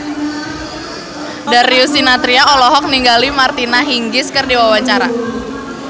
Darius Sinathrya olohok ningali Martina Hingis keur diwawancara